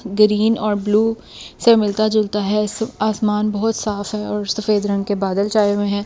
Green और blue से मिलता जुलता है आसमान बहुत साफ है और सफेद रंग के बादल चाए हुए हैं।